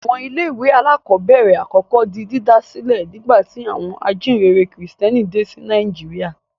Àwọn ilé-ìwé alákọ̀ọ́bẹ̀rẹ̀ àkọ́kọ́ di dídá sílẹ̀ nígbà tí àwọn ajíǹrere Kìrìtẹ́ẹ́nì dé sí Nàìjíríà.